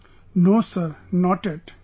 No Sir, not yet...